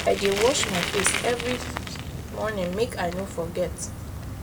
i dey wash my face every morning make i no forget